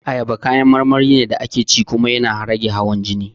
Ayaba kayan marmari ne da ake ci kuma yana rage hawan jini